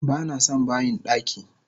Banason bayin daki!